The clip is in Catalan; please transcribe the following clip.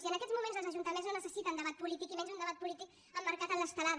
i en aquests moments els ajuntaments no necessiten debat polític ni menys un debat polític emmarcat en l’estelada